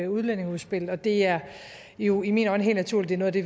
udlændingeudspil og det er jo i mine øjne helt naturligt at det